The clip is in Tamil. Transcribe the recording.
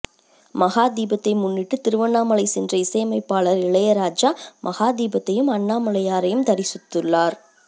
மகா தீபத்தை முன்னிட்டு திருவண்ணாமலை சென்ற இசையமைப்பாளர் இளையராஜா மகா தீபத்தையும் அண்ணாமலையாரையும் தரிசித்துள்ளார்